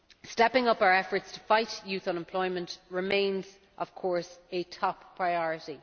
Stepping up our efforts to fight youth unemployment remains, of course, a top priority.